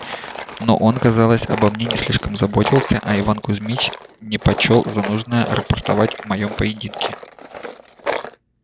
но он казалось обо мне не слишком заботился а иван кузмич не почёл за нужное рапортовать о моём поединке